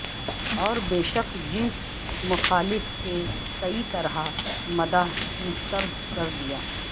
اور بیشک جنس مخالف کے کئی طرح مداح مسترد کر دیا